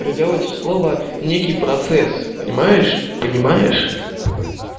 переделайте слово в некий процесс понимаешь понимаешь